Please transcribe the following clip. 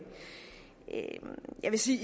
jeg vil sige